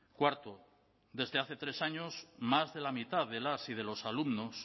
cuarto desde hace tres años más de la mitad de las y de los alumnos